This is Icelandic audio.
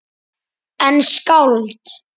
En skáld?